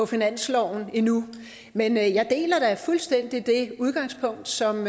finansloven endnu men jeg deler da fuldstændig det udgangspunkt som